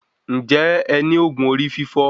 Ǹjẹ́ ẹ ní òògùn orí fífọ́